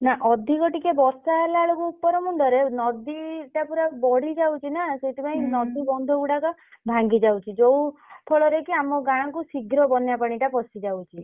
ନା ଅଧିକା ଟିକେ ବର୍ଷା ହେଲା ବେଳକୁ ଉପର ମୁଣ୍ଡରେ ନଦୀଟା ପୁରା ବଢି ଯାଉଛି ନା ସେଥିପାଇଁ ନଦୀ ବନ୍ଧ ଗୁଡାକ ଭାଙ୍ଗିଯାଉଛି ଯୋଉ ଫଳରେ କି ଆମ ଗାଁକୁ ଶୀଘ୍ର ବନ୍ୟା ପାଣିଟା ପଶି ଯାଉଛି।